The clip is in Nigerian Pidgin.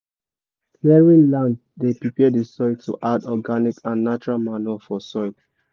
clearing land dey prepare the soil to add organic and natural manure for soil